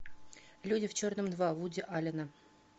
люди в черном два вуди аллена